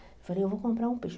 Eu falei, eu vou comprar um peixe.